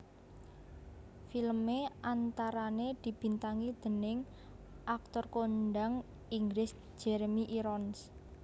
Filmé antarané dibintangi déning aktor kondang Inggris Jeremy Irons